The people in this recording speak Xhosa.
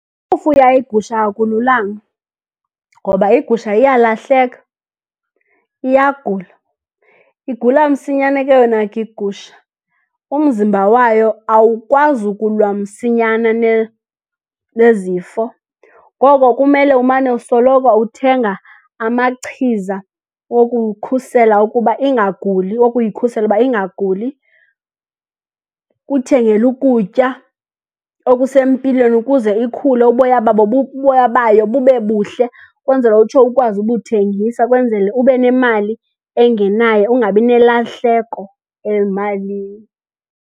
Ukufuya igusha akululanga, ngoba igusha iyalahleka, iyagula. Igula msinyane ke yona ke igusha. Umzimba wayo awukwazi ukulwa msinyana nezifo. Ngoko kumele umane usoloko uthenga amachiza wokukhusela ukuba ingaguli, wokuyikhusela uba ingaguli. Kuthengela ukutya okusempilweni ukuze ikhule, uboya babo, uboya bayo bube buhle ukwenzela utsho ukwazi ubuthengisa, kwenzele ube nemali engenayo ungabi nelahleko ezimalini.